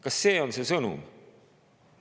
Kas see on see sõnum?